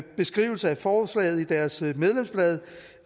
beskrivelse af forslaget i deres medlemsblad